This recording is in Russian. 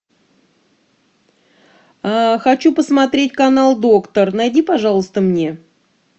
хочу посмотреть канал доктор найди пожалуйста мне